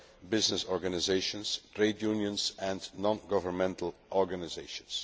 of business organisations, trade unions and non governmental organisations.